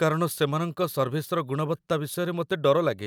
କାରଣ ସେମାନଙ୍କ ସର୍ଭିସର ଗୁଣବତ୍ତା ବିଷୟରେ ମୋତେ ଡର ଲାଗେ।